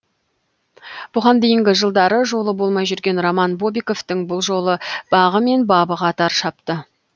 бұған дейінгі жылдары жолы болмай жүрген роман бобиковтің бұл жолы бағы мен бабы қатар шапты